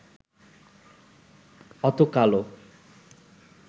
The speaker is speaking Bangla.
অত কালো